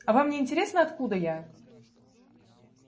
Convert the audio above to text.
а вам не интересно откуда я